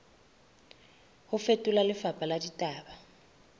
ho fetola lefapha la ditaba